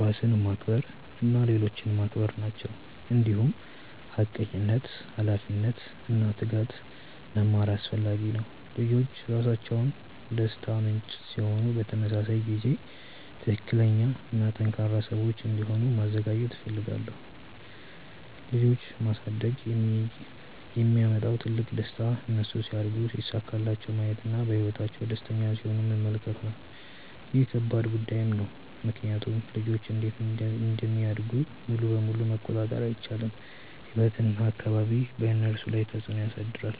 ራስን ማክበር እና ሌሎችን ማክበር ናቸው። እንዲሁም ሐቀኝነት፣ ኃላፊነት እና ትጋት መማር አስፈላጊ ነው። ልጆች ራሳቸው ደስታ ምንጭ ሲሆኑ በተመሳሳይ ጊዜ ትክክለኛ እና ጠንካራ ሰዎች እንዲሆኑ ማዘጋጀት እፈልጋለሁ። ልጆች ማሳደግ የሚያመጣው ትልቁ ደስታ እነሱ ሲያድጉ ሲሳካላቸው ማየት እና በህይወታቸው ደስተኛ ሲሆኑ መመልከት ነው። ይህ ከባድ ጉዳይም ነው ምክንያቱም ልጆች እንዴት እንደሚያድጉ ሙሉ በሙሉ መቆጣጠር አይቻልም፤ ህይወት እና አካባቢ በእነሱ ላይ ተፅዕኖ ያሳድራሉ።